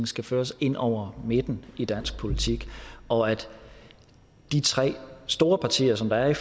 skal føres ind over midten i dansk politik og at de tre store partier som er i